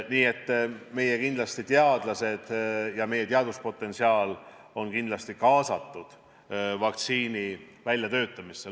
Nii et kindlasti meie teadlased ja meie teaduspotentsiaal on kaasatud vaktsiini väljatöötamisse.